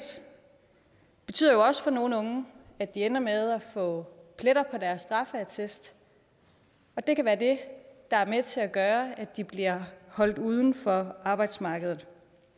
betyder også for nogle unge at de ender med at få pletter på deres straffeattest det kan være det der er med til at gøre at de bliver holdt uden for arbejdsmarkedet